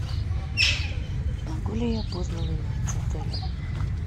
могу ли я поздно выехать с отеля